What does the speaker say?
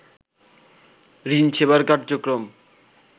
ঋণ সেবার কার্যক্রম